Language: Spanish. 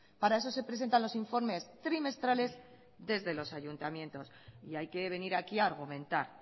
para eso se presentan los informes trimestrales desde los ayuntamientos y hay que venir aquí a argumentar